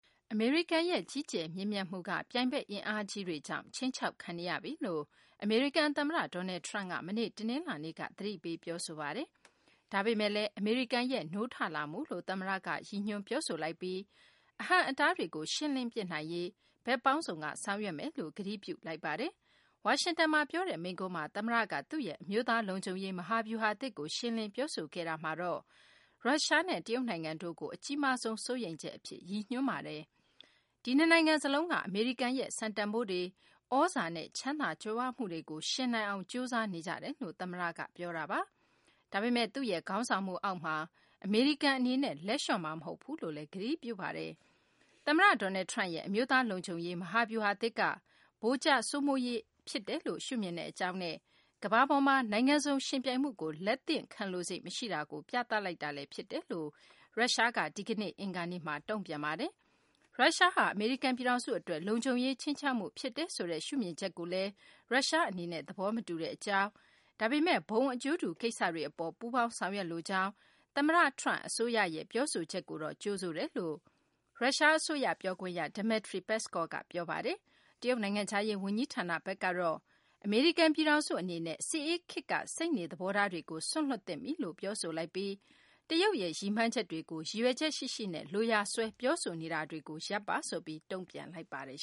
အမေရိကန်ရဲ့ ကြီးကျယ်မြင့်မြတ်မှုက ပြိုင်ဘက် အင်အားကြီး တွေကြောင့် ခြိမ်းခြောက်ခံနေရပြီလို့ အမေရိကန် သမ္မတ Donald Trump က မနေ့ တနလာၤနေ့က သတိပေး ပြောဆိုလိုက်ပါတယ်။ ဒါပေမယ့်လည်း အမေရိကန်ရဲ့ နိုးထလာမှုလို့ သမ္မတက ဖော်ညွှန်းပြောဆိုလိုက်ပြီး အဟန့်အတားတွေကို ရှင်းလင်းပစ်နိုင်ရေး ဘက်ပေါင်းစုံက ဆောင်ရွက်သွားမယ်လို့ ကတိပြု ပြောဆိုလိုက်ပါတယ်။ ဝါရှင်တန်မှာ ပြောတဲ့ မိန့်ခွန်းမှာ သမ္မတက သူ့ရဲ့ အမျိုးသား လုံခြုံရေး မဟာဗျူဟာသစ်ကို ရှင်းလင်း ပြောဆိုခဲ့တာမှာတော့ ရုရှားနဲ့ တရုတ်နိုင်ငံတို့ ကို အကြီးမားဆုံး စိုးရိမ်ချက် အဖြစ် ရည်ညွန်းပြောဆိုပါတယ်။ ဒီနှစ်နိုင်ငံ စလုံးက အမေရိကန်ရဲ့ စံတန်ဖိုးတွေ၊ သြဇာနဲ့ ချမ်းသာကြွယ်ဝမှုတွေကို ယှဉ်နိုင်အောင် ကြိုးစားနေကြတယ်လို့ သမ္မတက ပြောဆိုသွားတာပါ။ ဒါပေမယ့် သူ့ရဲ့ ခေါင်းဆောင်မှု အောက်မှာ အမေရိကန် အနေနဲ့ လက်လျှော့မှာ မဟုတ်ဘူးလို့လည်း ကတိပြုပါတယ်။ အမေရိကန်သမ္မတ Donald Trump ရဲ့ အမျိုးသားလုံခြုံရေး မဟာဗျူဟာသစ်ဟာ ဗိုလ်ကျစိုးမိုးရေး အဖြစ် ရှုမြင်ကြောင်းနဲ့ ကမ္ဘာပေါ်မှာ နိုင်ငံစုံ ယှဉ်ပြိုင်မှုကို လက်သင့်ခံလိုစိတ် မရှိတာကို ပြသလိုက်တာ ဖြစ်တယ်လို့ရုရှားက ဒီကနေ့ အင်္ဂါနေ့မှာ ပြောဆိုလိုက်ပါတယ်။ ရုရှားဟာ အမေရိကန်ပြည်ထောင်စု အတွက် လုံခြုံရေးခြိမ်းခြောက်မှုဖြစ်တယ်ဆိုတဲ့ ရှုမြင်ချက်ကို ရုရှားဘက်က သဘောမတူတဲ့ အကြောင်း ဒါပေမယ့် ဘုံအကျိုးတူ ကိစ္စတွေ အပေါ် ပူးပေါင်းဆောင်ရွက်လိုကြောင်း သမ္မတTrump အစိုးရရဲ့ ပြောဆိုချက်ကိုတော့ ကြိုဆိုတဲ့ အကြောင်း ရုရှား အစိုးရ ပြောခွင့်ရ Dmitry Peskov က ပြောဆိုလိုက်တာပါ။ တရုတ်နိုင်ငံခြားရေး ဝန်ကြီးဌာနဘက်ကတော့ အမေရိကန် ပြည်ထောင်စု အနေနဲ့ စစ်အေးခေတ်က စိတ်နေသဘောထားတွေကို စွန့်လွှတ်သင့်ပြီလို့ ပြောဆိုလိုက်ပြီး တရုတ်ရဲ့ ရည်မှန်းချက်တွေကို ရည်ရွယ်ချက်ရှိရှိနဲ့ လိုရာစွဲ ပြောဆိုနေတာတွေကို ရပ်ပါဆိုပြီး တုံ့ပြန်လိုက်ပါတယ်